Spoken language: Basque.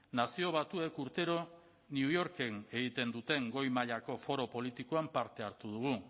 nazio batuek urtero new yorken egiten duten goi mailako foro politikoan parte hartu dugu